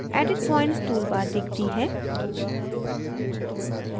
edit points toolbar दिखती है